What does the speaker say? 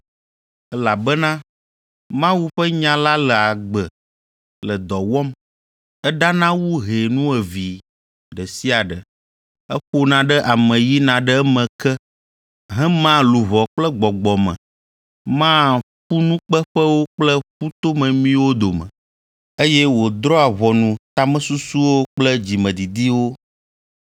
Elabena Mawu ƒe nya la le agbe le dɔ wɔm. Eɖana wu hɛ nuevee ɖe sia ɖe, eƒona ɖe ame yina ɖe eme ke, hemaa luʋɔ kple gbɔgbɔ me, maa ƒunukpeƒewo kple ƒutomemiwo dome, eye wòdrɔ̃a ʋɔnu tamesusuwo kple dzimedidiwo.